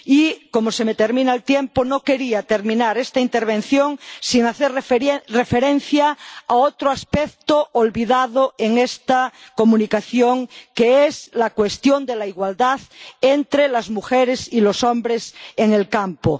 Y, como se me termina el tiempo, no quería terminar esta intervención sin hacer referencia a otro aspecto olvidado en esta Comunicación, que es la cuestión de la igualdad entre las mujeres y los hombres en el campo.